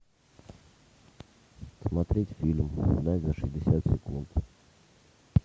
смотреть фильм угнать за шестьдесят секунд